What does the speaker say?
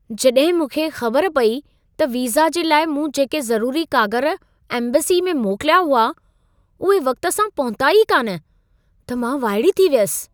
जॾहिं मूंखे ख़बर पई त वीज़ा जे लाइ मूं जेके ज़रूरी कागर एम्बेसी में मोकिलिया हुआ, उहे वक़्ति सां पहुता ई कान, त मां वाइड़ी थी वियसि।